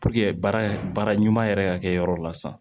baara baara ɲuman yɛrɛ ka kɛ yɔrɔ la sisan